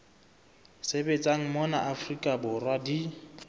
sebetsang mona afrika borwa di